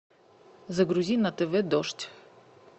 загрузи на тв дождь